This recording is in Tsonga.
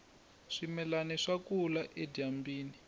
swimilani swa kula edyambyini